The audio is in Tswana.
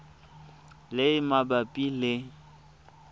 le e e mabapi le